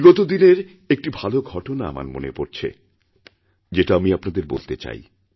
বিগত দিনেরএকটি ভালো ঘটনা আমার মনে পড়ছে যেটা আমি আপনাদের বলতে চাই